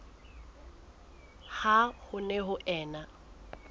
ha ho ne ho ena